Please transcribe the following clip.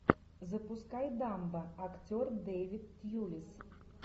запускай дамбо актер дэвид тьюлис